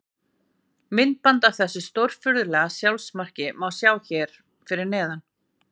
Myndband af þessu stórfurðulega sjálfsmarki má sjá hér fyrir neðan.